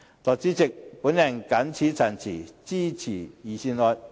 代理主席，我謹此陳辭，支持預算案。